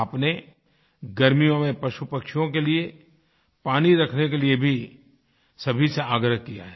आपने गर्मियों में पशुपक्षियों के लिए पानी रखने के लिए भी सभी से आग्रह किया है